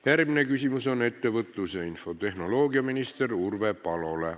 Järgmine küsimus on ettevõtlus- ja infotehnoloogiaminister Urve Palole.